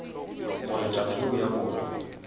gore taba yeo ya bona